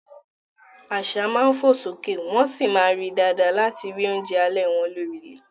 Àṣá máa ń fò sókè wọ́n sì máa ń rí i dáadáa láti rí oúnjẹ alẹ́ wọn lórí ilẹ̀.